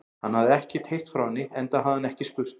Hann hafði ekkert heyrt frá henni, enda hafði hann ekki spurt.